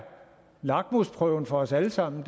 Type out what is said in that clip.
lakmusprøven for os alle sammen